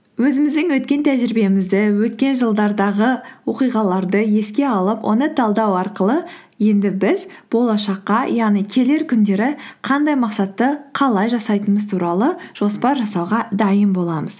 өзіміздің өткен тәжірибемізді өткен жылдардағы оқиғаларды еске алып оны талдау арқылы енді біз болашаққа яғни келер күндері қандай мақсатты қалай жасайтынымыз туралы жоспар жасауға дайын боламыз